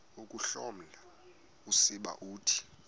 ukuhloma usiba uthi